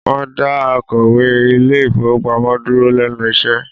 Wọ́n dá akọ̀wé ilé ìfowópamọ́ dúró lẹ́nu iṣẹ́